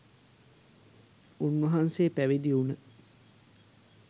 උන්වහන්සේ පැවිදිවුන